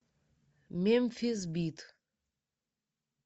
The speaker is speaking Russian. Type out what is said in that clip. мемфис бит